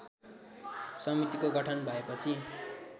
समितिको गठन भएपछि